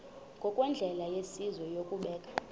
ngokwendlela yesizwe yokubeka